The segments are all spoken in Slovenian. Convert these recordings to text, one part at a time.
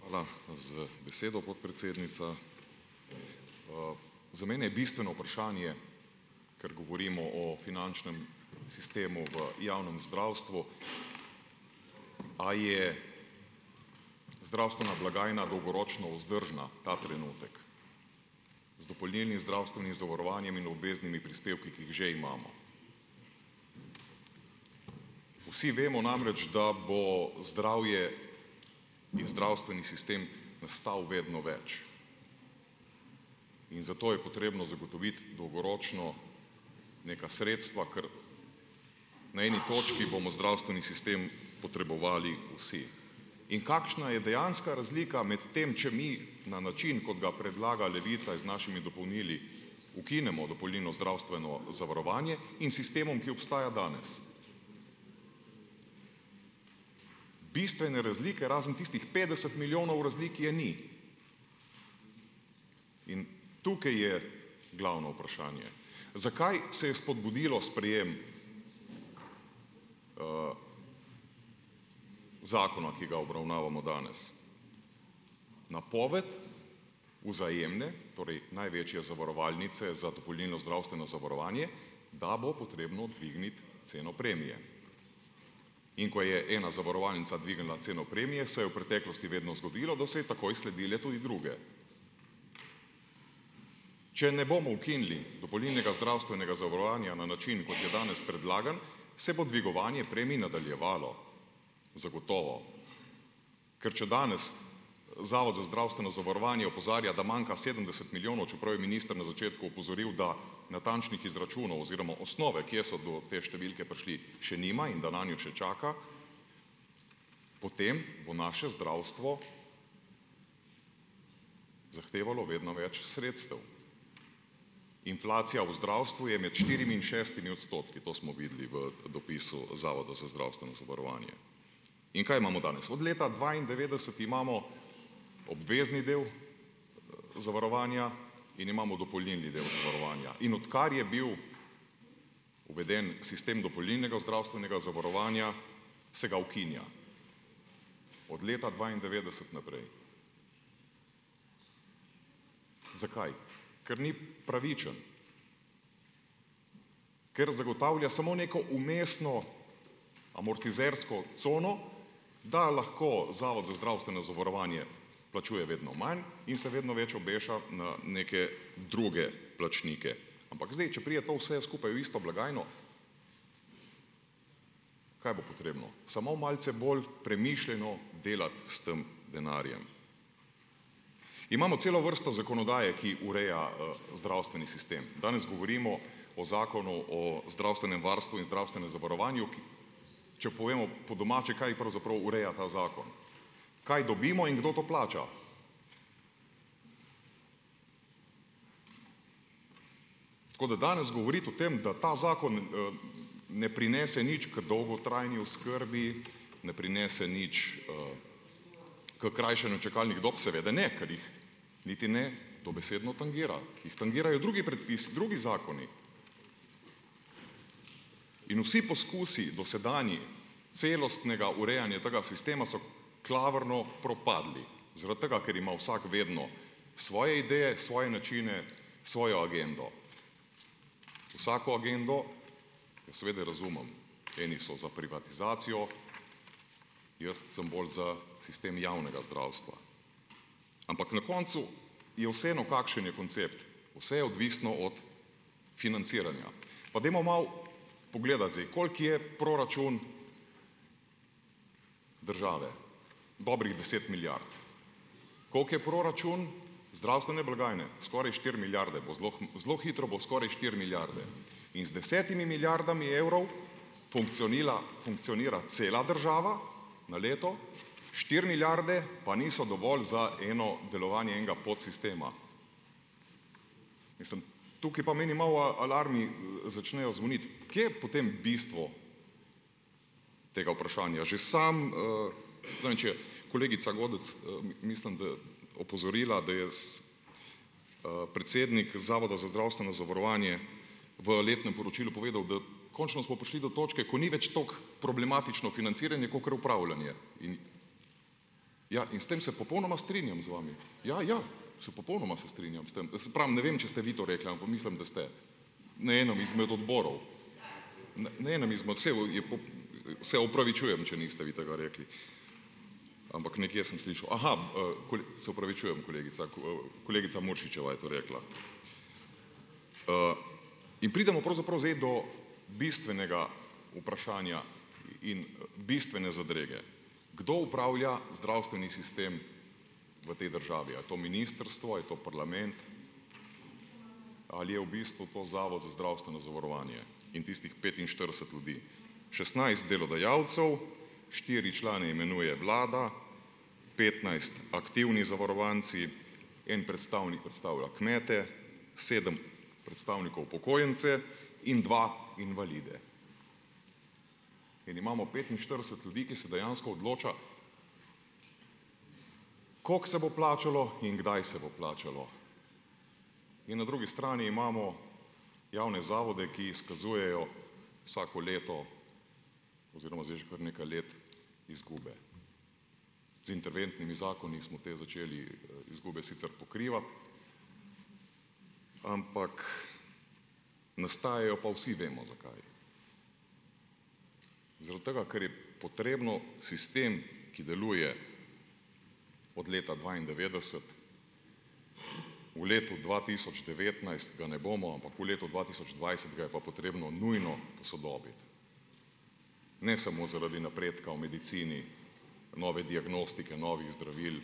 Hvala za besedo, podpredsednica. Za mene je bistveno vprašanje, ker govorimo o finančnem sistemu v javnem zdravstvu, a je zdravstvena blagajna dolgoročno vzdržna ta trenutek, z dopolnilnim zdravstvenim zavarovanjem in obveznimi prispevki, ki jih že imamo. Vsi vemo namreč, da bo zdravje in zdravstveni sistem stal vedno več, in zato je potrebno zagotoviti dolgoročno neka sredstva, ker na eni točki bomo zdravstveni sistem potrebovali vsi. In kakšna je dejanska razlika med tem, če mi na način, kot ga predlaga Levica, z našimi dopolnili ukinemo dopolnilno zdravstveno zavarovanje, in sistemom, ki obstaja danes. Bistvene razlike, razen tistih petdeset milijonov razlik, je ni. In tukaj je glavno vprašanje. Zakaj se je spodbudilo sprejem, zakona, ki ga obravnavamo danes, napoved Vzajemne, torej največje zavarovalnice za dopolnilno zdravstveno zavarovanje, da bo potrebno dvigniti ceno premije. In ko je ena zavarovalnica dvignila ceno premije, se je v preteklosti vedno zgodilo, da so ji takoj sledile tudi druge. Če ne bomo ukinili dopolnilnega zdravstvenega zavarovanja na način, kot je danes predlagan, se bo dvigovanje premij nadaljevalo, zagotovo. Ker če danes Zavod za zdravstveno zavarovanje opozarja, da manjka sedemdeset milijonov, čeprav je minister na začetku opozoril, da natančnih izračunov oziroma osnove, kje so do te številke prišli, še nima in da nanjo še čaka, potem bo naše zdravstvo zahtevalo vedno več sredstev. Inflacija v zdravstvu je med štirimi in šestimi odstotki. To smo videli v, dopisu Zavoda za zdravstveno zavarovanje. In kaj imamo danes? Od leta dvaindevetdeset imamo obvezni del zavarovanja in imamo dopolnilni del zavarovanja. In odkar je bil uveden sistem dopolnilnega zdravstvenega zavarovanja, se ga ukinja, od leta dvaindevetdeset naprej. Zakaj? Ker ni pravičen. Ker zagotavlja samo neko vmesno amortizersko cono, da lahko Zavod za zdravstveno zavarovanje plačuje vedno manj in se vedno več obeša na neke druge plačnike. Ampak, zdaj, če pride to vse skupaj v isto blagajno, kaj bo potrebno? Samo malce bolj premišljeno delati s tem denarjem. Imamo celo vrsto zakonodaje, ki ureja, zdravstveni sistem. Danes govorimo o zakonu o zdravstvenem varstvu in zdravstvenem zavarovanju, ki, če povemo po domače, kaj pravzaprav ureja ta zakon, kaj dobimo in kdo to plača. Tako da danes govoriti o tem, da ta zakon, ne prinese nič k dolgotrajni oskrbi, ne prinese nič, h krajšanju čakalnih dob. Seveda ne, ker jih niti ne dobesedno tangira. Jih tangirajo drugi predpisi, drugi zakoni. In vsi poskusi dosedanji celostnega urejanja tega sistema so klavrno propadli, zaradi tega, ker ima vsak vedno svoje ideje, svoje načine, svojo agendo. Vsako agendo jo seveda razumem. Eni so za privatizacijo, jaz sem bolj za sistem javnega zdravstva. Ampak na koncu je vseeno, kakšen je koncept. Vse je odvisno od financiranja. Pa dajmo malo pogledati zdaj, koliko je proračun države. Dobrih deset milijard. Koliko je proračun zdravstvene blagajne? Skoraj štiri milijarde, bo zelo zelo hitro bo skoraj štiri milijarde. In z desetimi milijardami evrov funkcionila, funkcionira cela država na leto. Štiri milijarde pa niso dovolj za eno delovanje enega podsistema. Mislim, tukaj pa meni malo, alarmi, začnejo zvoniti. Kje je potem bistvo tega vprašanja? Že samo, zadnjič je kolegica Godec, mislim, da opozorila, da je, predsednik Zavoda za zdravstveno zavarovanje v letnem poročilu povedal, da končno smo prišli do točke, ko ni več tako problematično financiranje kakor upravljanje. In ja in s tem se popolnoma strinjam z vami. Ja, ja, se popolnoma se strinjam s tem. Se pravim, ne vem, če ste vi to rekla, ampak mislim, da ste na enem izmed odborov, Se opravičujem, če niste vi tega rekli, ampak nekje sem slišal. Aha, se opravičujem, kolegica, kolegica Muršičeva je to rekla. In pridemo pravzaprav zdaj do bistvenega vprašanja in, bistvene zadrege. Kdo upravlja zdravstveni sistem v tej državi? A je to ministrstvo, a je to parlament? Ali je v bistvu to Zavod za zdravstveno zavarovanje in tistih petinštirideset ljudi? šestnajst delodajalcev, štiri člane imenuje vlada, petnajst aktivni zavarovanci, en predstavnik predstavlja kmete, sedem predstavnikov upokojence in dva invalide. In imamo petinštirideset ljudi, ki se dejansko odloča, kako se bo plačalo in kdaj se bo plačalo. In na drugi strani imamo javne zavode, ki izkazujejo vsako leto, oziroma zdaj že kar nekaj let, izgube. Z interventnimi zakoni smo te začeli, izgube sicer pokrivati, ampak nastajajo pa, vsi vemo zakaj. Zaradi tega, ker je potrebno sistem, ki deluje od leta dvaindevetdeset, v letu dva tisoč devetnajst ga ne bomo, ampak v letu dva tisoč dvajset ga je pa potrebno nujno posodobiti. Ne samo zaradi napredka v medicini, nove diagnostike, novih zdravil,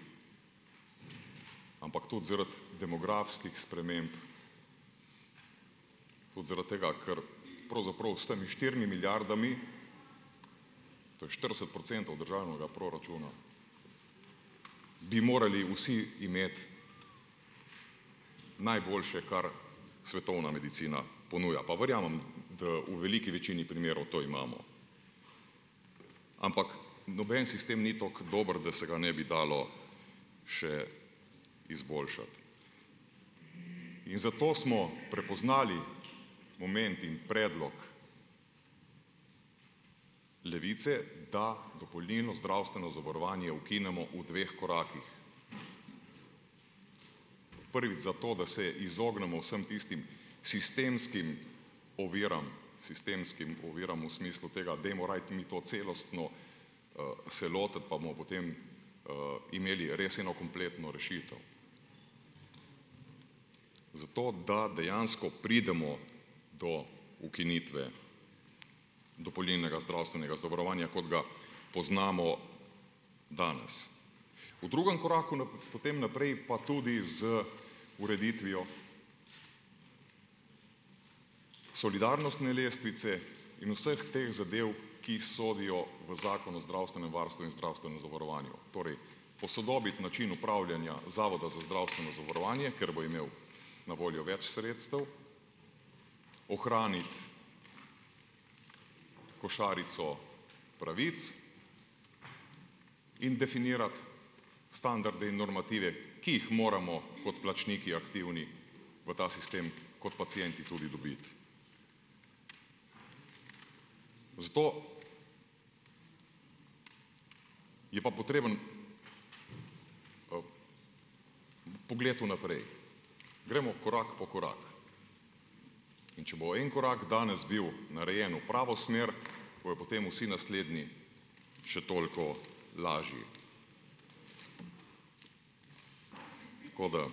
ampak tudi zaradi demografskih sprememb, tudi zaradi tega, ker pravzaprav s temi štirimi milijardami, to je štirideset procentov državnega proračuna, bi morali vsi imeti najboljše kar svetovna medicina ponuja. Pa verjamem, da v veliki večini primerov to imamo. Ampak noben sistem ni tako dober, da se ga ne bi dalo še izboljšati. In zato smo prepoznali moment in predlog Levice, da dopolnilno zdravstveno zavarovanje ukinemo v dveh korakih. Prvič zato, da se izognemo vsem tistim sistemskim oviram, sistemskim oviram v smislu tega, dajmo raje mi to celostno, se lotiti pa bomo potem, imeli res eno kompletno rešitev. Zato, da dejansko pridemo do ukinitve dopolnilnega zdravstvenega zavarovanja, kot ga poznamo danes. V drugem koraku potem naprej pa tudi z ureditvijo solidarnostne lestvice in vseh teh zadev, ki sodijo v Zakon o zdravstvenem varstvu in zdravstvenem zavarovanju. Torej, posodobiti način upravljanja Zavoda za zdravstveno zavarovanje, ker bo imel na voljo več sredstev. Ohraniti košarico pravic in definirati standarde in normative, ki jih moramo kot plačniki, aktivni, v ta sistem kot pacienti tudi dobiti. Zato je pa potreben, pogled vnaprej. Gremo korak po korak, in če bo en korak danes bil narejen v pravo smer, bojo potem vsi naslednji še toliko lažji. Tako da,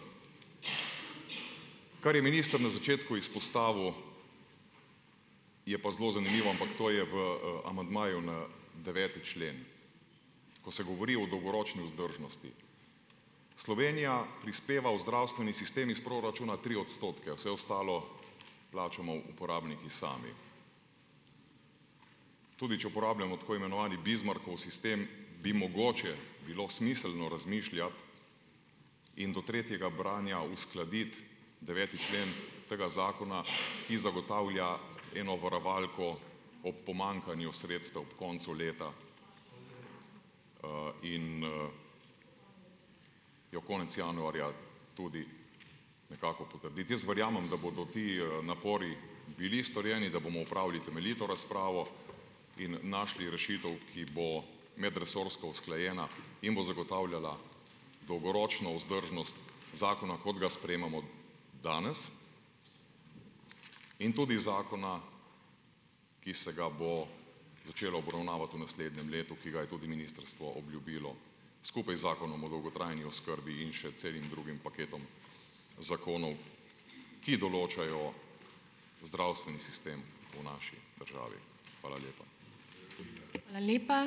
kar je minister na začetku izpostavil, je pa zelo zanimivo, ampak to je v, amandmaju na deveti člen, ko se govori o dolgoročni vzdržnosti. Slovenija prispeva v zdravstveni sistem iz proračuna tri odstotke, vse ostalo plačamo uporabniki sami. Tudi če uporabljamo tako imenovani Bismarckov sistem, bi mogoče bilo smiselno razmišljati in do tretjega branja uskladiti deveti člen tega zakona, ki zagotavlja eno varovalko ob pomankanju sredstev ob koncu leta, in, jo konec januarja tudi nekako potrditi. Jaz verjamem, da bodo ti, napori bili storjeni, da bomo opravili temeljito razpravo in našli rešitev, ki bo medresorsko usklajena in bo zagotavljala dolgoročno vzdržnost zakona, kot ga sprejemamo danes, in tudi zakona, ki se ga bomo začeli obravnavati v naslednjem letu, ki ga je tudi ministrstvo obljubilo skupaj z Zakonom o dolgotrajni oskrbi in še celim drugim paketom zakonov, ki določajo zdravstveni sistem v naši državi. Hvala lepa.